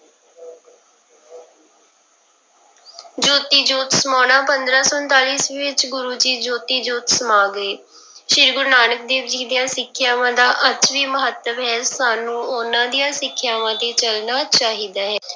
ਜੋਤੀ ਜੋਤ ਸਮਾਉਣਾ, ਪੰਦਰਾਂ ਸੌ ਉਣਤਾਲੀ ਈਸਵੀ ਵਿੱਚ ਗੁਰੂ ਜੀ ਜੋਤੀ ਜੋਤ ਸਮਾ ਗਏ, ਸ੍ਰੀ ਗੁਰੂ ਨਾਨਕ ਦੇਵ ਜੀ ਦੀਆਂ ਸਿੱਖਿਆਵਾਂ ਦਾ ਅੱਜ ਵੀ ਮਹੱਤਵ ਹੈ ਸਾਨੂੰ ਉਹਨਾਂ ਦੀਆਂ ਸਿੱਖਿਆਵਾਂ ਤੇ ਚੱਲਣਾ ਚਾਹੀਦਾ ਹੈ।